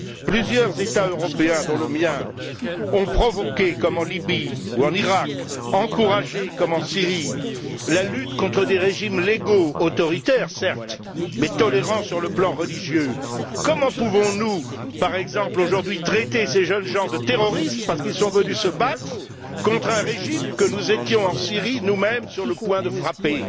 Plusieurs États européens, dont le mien, ont provoqué, comme en Libye ou en Iraq, encouragé, comme en Syrie, la lutte contre des régimes légaux, certes autoritaires mais tolérants sur le plan religieux. Comment pouvons nous, par exemple, aujourd'hui, traiter ces jeunes gens de terroristes parce qu'ils sont venus se battre contre un régime que nous étions en Syrie, nous mêmes, sur le point de frapper?